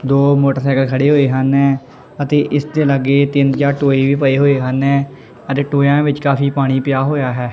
ਦੋ ਮੋਟਰਸਾਈਕਲ ਖੜੇ ਹੋਏ ਹਨ ਅਤੇ ਇਸ ਦੇ ਲਾਗੇ ਤਿੰਨ ਚਾਰ ਟੋਏ ਵੀ ਪਏ ਹੋਏ ਹਨ ਅਤੇ ਟੋਇਆ ਵਿੱਚ ਕਾਫੀ ਪਾਣੀ ਪਆ ਹੋਇਆ ਹੈ।